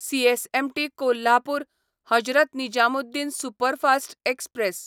CSMT Kolhapur Hazrat Nizamuddin superfast express